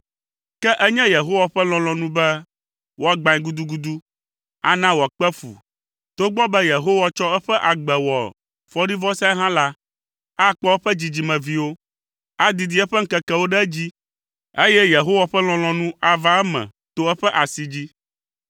Ke enye Yehowa ƒe lɔlɔ̃nu be wòagbãe gudugudu, ana wòakpe fu togbɔ be Yehowa tsɔ eƒe agbe wɔ fɔɖivɔsae hã la, akpɔ eƒe dzidzimeviwo. Adidi eƒe ŋkekewo ɖe edzi, eye Yehowa ƒe lɔlɔ̃nu ava eme to eƒe asi dzi.